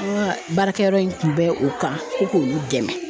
An ka barakɛyɔrɔ in tun bɛ o kan ko k'olu dɛmɛ .